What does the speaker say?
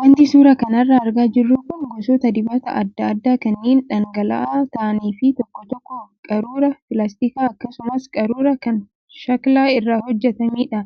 Wanti suuraa kanarraa argaa jirru kun gosoota dibataa adda addaa kanneen dhangala'aa ta'anii fi tokko tokko qaruuraa pilaastikaa akkasumas qaruuraa kan shaklaa irraa hojjatamedha.